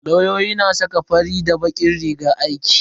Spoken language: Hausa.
Lauyoyi na saka fari da bakin rigar aiki.